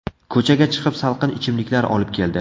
Ko‘chaga chiqib salqin ichimliklar olib keldi.